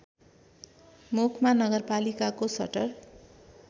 मुखमा नगरपालिकाको सटर